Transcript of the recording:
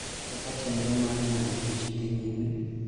kaka chenro mar ng�ado tich dhi nyime.